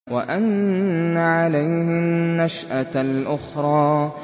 وَأَنَّ عَلَيْهِ النَّشْأَةَ الْأُخْرَىٰ